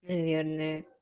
наверное